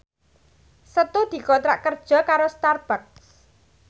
Setu dikontrak kerja karo Starbucks